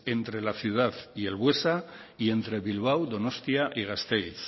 entre la ciudad y el buesa y entre bilbao donostia y gasteiz